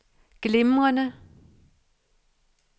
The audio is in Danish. glimrende